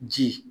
Ji